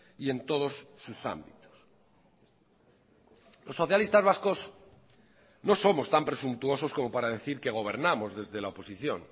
y en todos sus ámbitos los socialistas vascos no somos tan presuntuosos como para decir que gobernamos desde la oposición